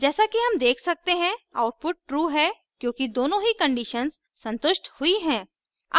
जैसा कि हम देख सकते हैं output true है क्योंकि दोनों ही conditions संतुष्ट हुई हैं